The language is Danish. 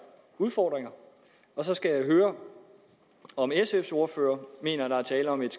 udfordringer og så skal jeg høre om sfs ordfører mener at der er tale om et